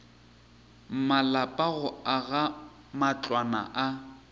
malapa go aga matlwana a